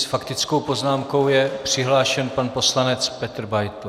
S faktickou poznámkou je přihlášen pan poslanec Petr Beitl.